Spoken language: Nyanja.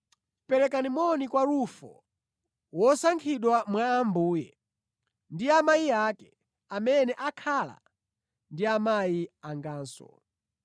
Perekani moni kwa Rufo, wosankhidwa mwa Ambuye, ndi amayi ake, amene akhala amayi anganso.